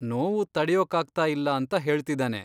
ನೋವು ತಡೆಯೋಕ್ಕಾಗ್ತಾಇಲ್ಲ ಅಂತ ಹೇಳ್ತಿದಾನೆ.